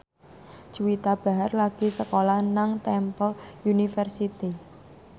Juwita Bahar lagi sekolah nang Temple University